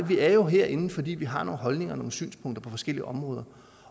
er jo herinde fordi vi har nogle holdninger og synspunkter på forskellige områder